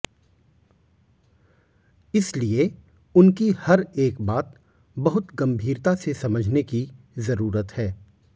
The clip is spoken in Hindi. इसलिए उनकी हर एक बात बहुत गंभीरता से समझने की जरूरत है